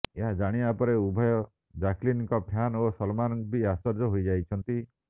ଏହା ଜାଣିବା ପରେ ଉଭୟ ଜ୍ୟାକ୍ଲିନ୍ଙ୍କ ଫ୍ୟାନ୍ ଓ ସଲମାନ୍ ବି ଆଶ୍ଚର୍ଯ୍ୟ ହୋଇଯାଇଛନ୍ତି